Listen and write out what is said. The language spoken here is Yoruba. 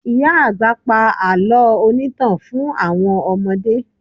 Ìyá àgbà pa àlọ́ onítàn fún àwọn ọmọdé